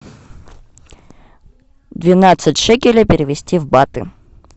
двенадцать шекелей перевести в баты